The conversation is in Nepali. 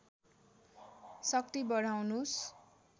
शक्ति बढाउनुस्